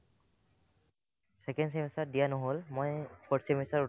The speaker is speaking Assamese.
second semester ত দিয়া নহ'ল মই fourth semester ত